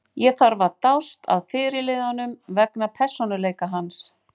Ég þarf að dást að fyrirliðanum vegna persónuleika hans.